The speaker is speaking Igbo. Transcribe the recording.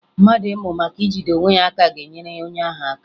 Mmadụ ịmụ maka ijide onwe ya aka ga-enyere onye ahụ aka